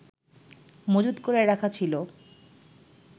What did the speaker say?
মজুদ করে রাখা ছিল